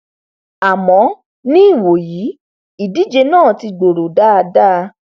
àmọ ní ìwòyí ìdíje náà ti gbòòrò dáadáa